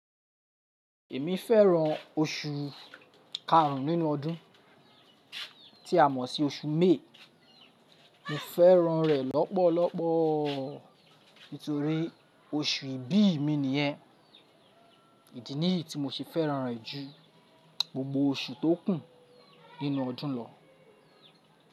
Èmi fẹ́ràn oṣù karùn nínú ọdún tí a mọ̀ sí oṣù May. Mo fẹ́ràn rẹ̀ lọ́pọ̀lọpọ̀ torí oṣù ìbí mi nìyẹn. Ìdí nìyí tí mo se fẹ́ràn rẹ̀ ju gbogbo oṣù tó kù nínú ọdún lọ.